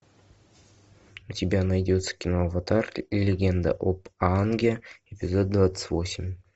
у тебя найдется кино аватар легенда об аанге эпизод двадцать восемь